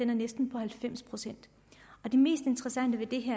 næsten halvfems procent det mest interessante ved det